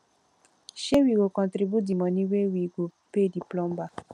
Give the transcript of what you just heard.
um we go contribute di moni wey we go pay di plumber